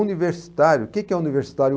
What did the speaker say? Universitário, o que que é universitário?